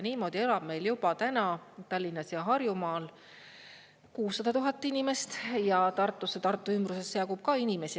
Niimoodi elab meil juba täna Tallinnas ja Harjumaal 600 000 inimest ning Tartusse ja Tartu ümbrusesse jagub ka inimesi.